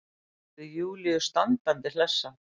Gerði Júlíu standandi hlessa.